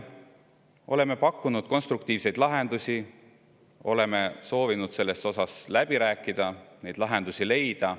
Oleme pakkunud konstruktiivseid lahendusi, oleme soovinud selle üle läbi rääkida ja lahendusi leida.